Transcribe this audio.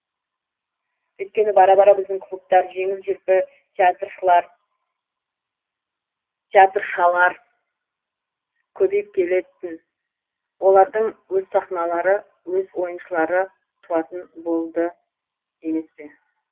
үйткені бара бара біздің клубтар жеңіл желпі театршалар көбейіп кететін олардың өз сахналары өз ойыншылары туатын болады емес пе